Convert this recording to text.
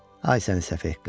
Ay səfeh qız,